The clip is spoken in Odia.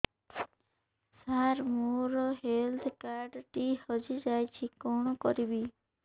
ସାର ମୋର ହେଲ୍ଥ କାର୍ଡ ଟି ହଜି ଯାଇଛି କଣ କରିବି